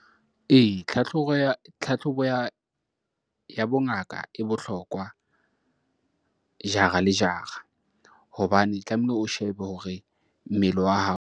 Ee, tlhatlhobo ya bongaka e bohlokwa jara le jara hobane tlamehile o shebe hore mmele wa hao.